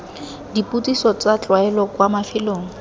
dipotsiso tsa tlwaelo kwa mafelong